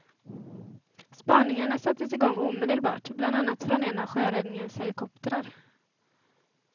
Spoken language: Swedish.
Spaningarna sattes igång omedelbart, bland annat från en av sjöräddningens helikoptrar.